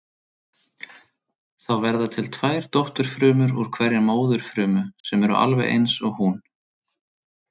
Þá verða til tvær dótturfrumur úr hverri móðurfrumu sem eru alveg eins og hún.